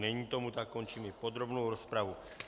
Není tomu tak, končím i podrobnou rozpravu.